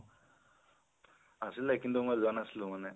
আছিলে, কিন্তু মই যোৱা নাছিলোঁ মানে